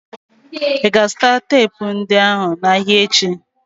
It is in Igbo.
Ị ga-azụta teepu ndị ahụ n'ahịa echi?